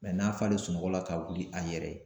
n'a falen sunɔgɔ la ka wuli a yɛrɛ ye.